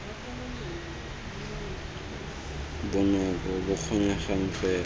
bonako bo bo kgonegang fela